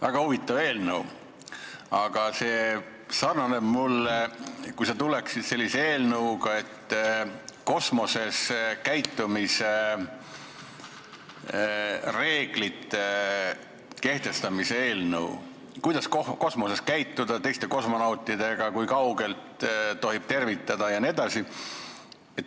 Väga huvitav eelnõu, aga minu meelest sarnaneb see kosmoses käitumisreeglite kehtestamise eelnõuga, et kuidas kosmoses käituda teiste kosmonautidega, kui kaugelt tohib tervitada jne.